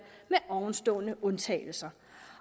med ovenstående undtagelser